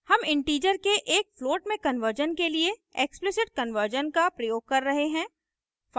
हम integer के एक float में कन्वर्जन के लिए explicit कन्वर्जन का प्रयोग कर रहे हैं